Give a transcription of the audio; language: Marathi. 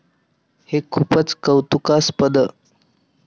हे खूपच कौतुकास्पद!